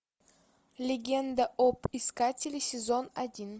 легенда об искателе сезон один